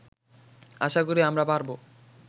আশা করি আমরা পারবো